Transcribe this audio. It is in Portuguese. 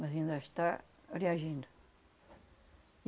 Mas ainda está reagindo.